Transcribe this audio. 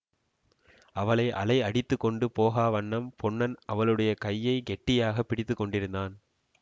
அவளை அலை அடித்து கொண்டு போகா வண்ணம் பொன்னன் அவளுடைய கையை கெட்டியாக பிடித்து கொண்டிருந்தான்